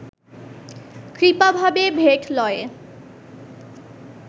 কৃপাভাবে ভেট লয়ে